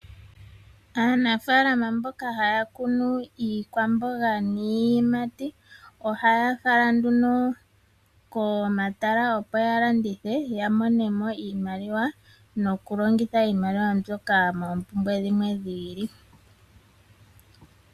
Aanafalama mboka haya kunu iikwamboga niiyimati, ohaya fala nduno komatala opo ya landithe, ya monemo iimaliwa nokulongitha iimaliwa mbyoka moompumbwe dhimwe dhi ili.